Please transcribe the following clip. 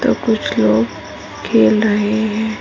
तो कुछ लोग खेल रहे है।